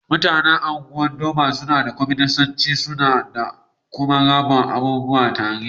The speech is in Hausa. Mutanen Ungwan-Doma sunna yin mulki'n kwaminisanci. Suna aiki da kuma rabba abubuwa tare.